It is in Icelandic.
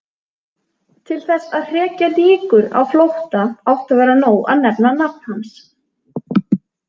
Til þess að hrekja nykur á flótta átti að vera nóg að nefna nafn hans.